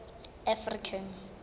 african